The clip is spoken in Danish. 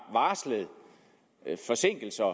varslet forsinkelser